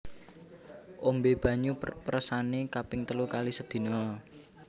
Ombé banyu peresané kaping telu kali sedina